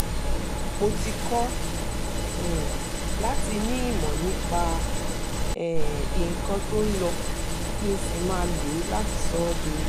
mo ti kọ́ um láti ní ìmọ̀ nípa um nǹkan tó ń lọ kí n n sì máa lo láti sọ ọ́ dowó